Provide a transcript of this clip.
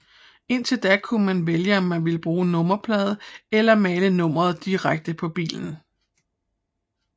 Indtil da kunne man vælge om man ville bruge nummerplade eller male nummeret direkte på bilen